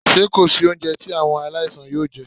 Ṣé kò sí oúnjẹ tí àwọn aláìsàn yóò jẹ́?